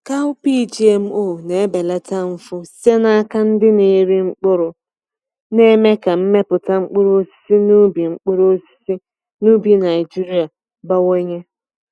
Cowpea GMO na-ebelata mfu site n’aka ndị na-eri mkpụrụ, na-eme ka mmepụta mkpụrụ osisi n’ubi mkpụrụ osisi n’ubi Naijiria bawanye.